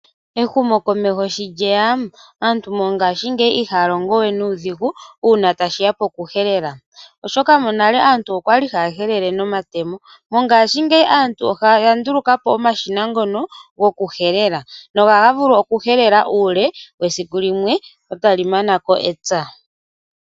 Ehumo komeho sho lyeya aantu mongashingeyi ihaya longo we nuudhigu una tashiya pokuhelela, oshoka monale aantu kokwali haya helele nomatemo. Mongashingeyi aantu oyanduluka po omashina ngoka gokuhelela na ohaga vulu okuhelela uule wesiku limwe eta li manako epya.